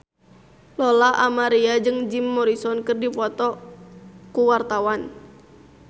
Lola Amaria jeung Jim Morrison keur dipoto ku wartawan